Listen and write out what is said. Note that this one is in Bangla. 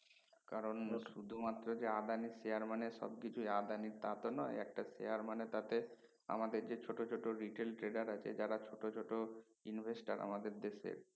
কারন শুধু মাত্র যে আদনির share মানে সব কিছু আদানির তা তো নয় একটা share মানে তাতে আমাদের যে ছোট ছোট retail trader আছে যারা ছোট ছোট investor যারা আমাদের দেশে